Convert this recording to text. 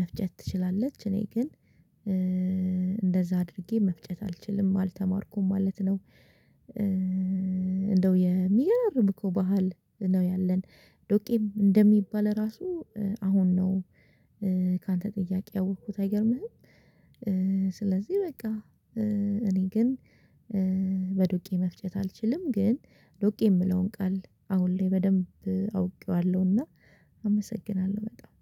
መፍጨት ትችላለች እኔ ግን እንደዛ አድርጌ መፍጨት አልችልም አልተማርኩም ማለት ነው። እንደው የሚገራርም እኮ ባህል ነው ያለን ዶቄም እንደሚባል ራሱ አሁን ነው። ካንተ ጥያቄ ያወቅኩት አይገርምህም? ስለዚህ በቃ እኔ ግን በዶቄ መፍጨት አልችልም። ግን ዱቄ የምለውን ቃል አሁን ላይ በደንብ አውቄዋለሁና አመሰግናለሁ በጣም